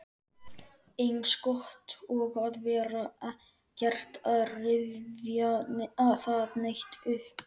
Eins gott að vera ekkert að rifja það neitt upp.